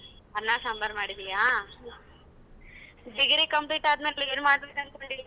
ಅನ್ನ ಸಾಂಬಾರ್ ಮಾಡಿದೀಯಾ. Degree complete ಆದ ಮೇಲೆ ಏನ್ ಮಾಡ್ಬೇಕು ಅನ್ಕೊಂಡಿದ್ದೀಯ?